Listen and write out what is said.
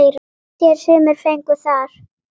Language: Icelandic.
Far sér sumir fengu þar.